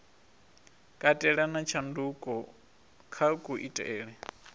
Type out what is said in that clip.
katela na tshanduko kha kuitele